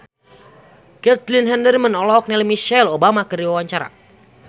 Caitlin Halderman olohok ningali Michelle Obama keur diwawancara